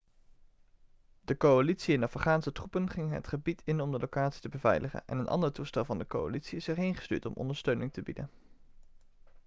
de coalitie en afghaanse troepen gingen het gebied in om de locatie te beveiligen en een andere toestel van de coalitie is erheen gestuurd om ondersteuning te bieden